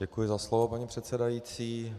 Děkuji za slovo, paní předsedající.